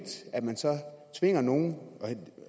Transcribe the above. at man tvinger nogen her